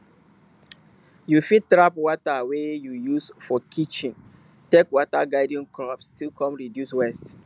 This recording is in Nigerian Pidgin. you fit trap water wey you use for kitchen take water garden crops still come reduce waste